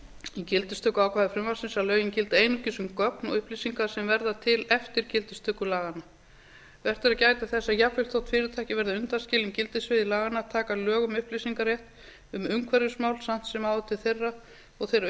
í gildistökuákvæði frumvarpsins að lögin gildi einungis um gögn og upplýsingar sem verða til eftir gildistöku laganna vert er að gæta þess að jafnvel þó fyrirtæki verði undanskilin gildissviði laganna taka lög um upplýsingarétt um umhverfismál samt sem áður til þeirra og þeirra